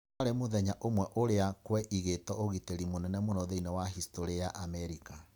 warĩ muthenya ũmwe ũria kwa igito ũgitĩri mũnene mũno thĩinĩ wa historĩ ya Amerika.